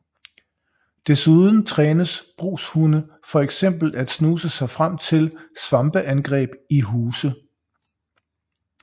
Desuden trænes brugshunde for eksempel at snuse sig frem til svampeangreb i huse